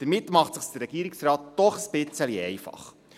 Damit macht es sich der Regierungsrat doch ein bisschen einfach.